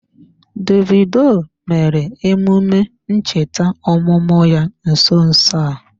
Davidoo mere emume ncheta ọmụmụ ya nso nso a.